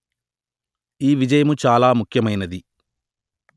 ఈ విజయము చాలా ముఖ్యమైనది